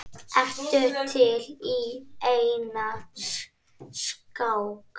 Ertu til í eina skák?